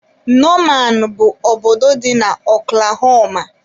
Nomaan bụ obodo dị na okulahoma.